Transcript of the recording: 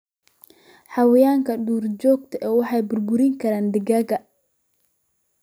Xayawaanka duurjoogta ah waxay burburin karaan digaagga.